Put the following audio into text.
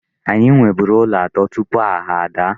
Anyị nweburu ụlọ atọ tupu agha ada.